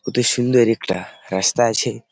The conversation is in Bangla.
কত সুন্দর একটা রাস্তা আছে।